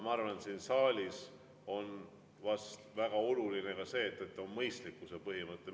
Ma arvan, et siin saalis on väga oluline ka mõistlikkuse põhimõte.